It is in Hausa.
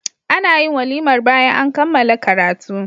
anayin walimar bayan an kammala karatu